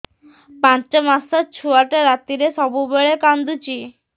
ପାଞ୍ଚ ମାସ ଛୁଆଟା ରାତିରେ ସବୁବେଳେ କାନ୍ଦୁଚି